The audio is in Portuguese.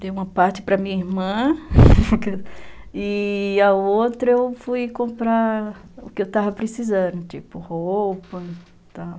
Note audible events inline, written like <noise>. Dei uma parte para minha irmã <laughs> e a outra eu fui comprar o que eu estava precisando, tipo roupa e tal.